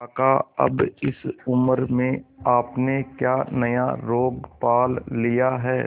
काका अब इस उम्र में आपने क्या नया रोग पाल लिया है